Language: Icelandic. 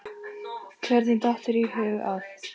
Hvernig datt þér í hug að.